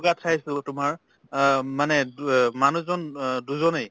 ৱাত খাইছো তোমাৰ অ মানে টু অ মানুহজন অ দুজনে